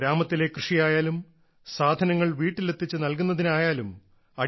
അത് ഗ്രാമത്തിലെ കൃഷിയായാലും സാധനങ്ങൾ വീട്ടിലെത്തിച്ചു നല്കുന്നതിനായാലും